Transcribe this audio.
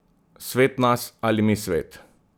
Svet nas ali mi svet?